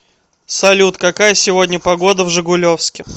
салют какая сегодня погода в жигулевске